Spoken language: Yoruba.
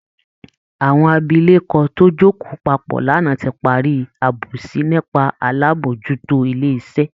Àwọn abilékọ tó jókòó papọ̀ lánàá ti parí àbòsí nípa alábòójútó ilé iṣẹ́